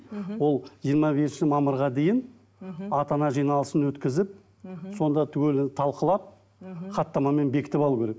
мхм ол жиырма бесінші мамырға дейін мхм ата ана жиналысын өткізіп мхм сонда түгелін талқылап мхм хаттамамен бекітіп алу керек